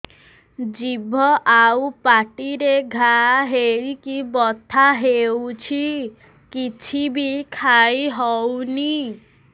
ଜିଭ ଆଉ ପାଟିରେ ଘା ହେଇକି ବଥା ହେଉଛି କିଛି ବି ଖାଇହଉନି